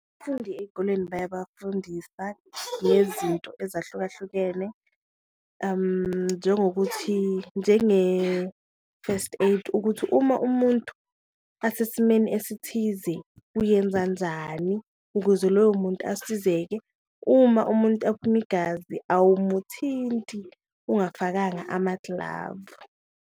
Abafundi eyikoleni bayabafundisa ngezinto ezahlukahlukene njengokuthi njenge-first aid ukuthi uma umuntu asesimeni esithize uyenza njani ukuze loyo muntu asizeke, uma umuntu aphuma igazi awumuthinti ungafakanga ama-glove.